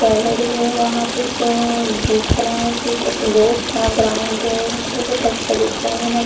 gallery है वहां पे देखना है कुछ ऐसे बहुत सारा ग्राउंड है बहुत अच्छा दिख रहा है ना --